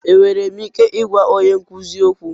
Enwere m ike ịgwa onye nkuzi okwu?